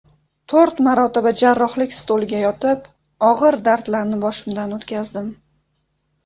To‘rt marotaba jarrohlik stoliga yotib, og‘ir dardlarni boshimdan o‘tkazdim.